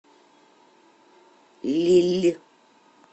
лилль